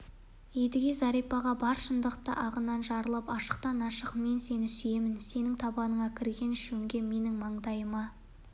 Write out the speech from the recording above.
едіге зәрипаға бар шындықты ағынан жарылып ашықтан-ашық мен сені сүйемін сенің табаныңа кірген шөңге менің маңдайыма